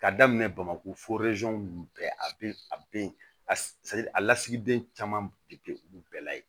Ka daminɛ bamakɔ nunnu bɛɛ a be yen a be yen a lasigiden caman be kɛ olu bɛɛ la yen